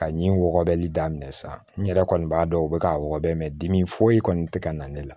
Ka ɲi wɔgɔbɛli daminɛ sa n yɛrɛ kɔni b'a dɔn u bɛ ka wɔbɛ mɛ dimi foyi kɔni tɛ ka na ne la